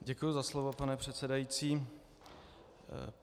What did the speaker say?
Děkuji za slovo, pane předsedající.